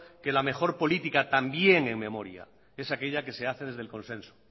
que la mejor política también en memoria es aquella que se hace desde el consenso